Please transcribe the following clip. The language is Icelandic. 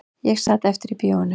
Ég sat eftir í bíóinu